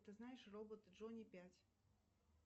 ты знаешь робот джонни пять